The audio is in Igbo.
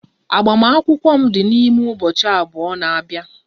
Agbamakwụkwọ m dị n'ime ụbọchị abụọ na-abia